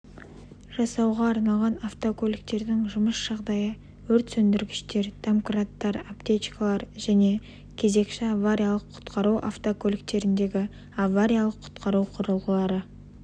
жасауға арналған автокөліктердің жұмыс жағдайы өрт сөндіргіштер домкраттар аптечкалар және кезекші авариялық-құтқару автокөліктеріндегі авариялық-құтқару құрылғылары